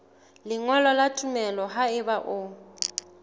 lengolo la tumello haeba o